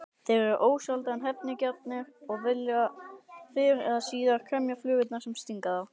Þeir eru ósjaldan hefnigjarnir og vilja fyrr eða síðar kremja flugurnar sem stinga þá.